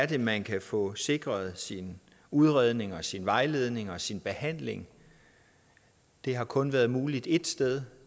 det er man kan få sikret sin udredning og sin vejledning og sin behandling det har kun været muligt ét sted